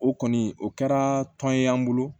O kɔni o kɛra tɔn ye an bolo